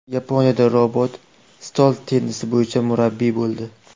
Yaponiyada robot stol tennisi bo‘yicha murabbiy bo‘ldi.